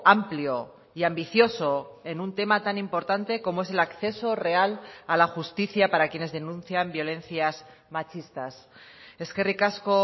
amplio y ambicioso en un tema tan importante como es el acceso real a la justicia para quienes denuncian violencias machistas eskerrik asko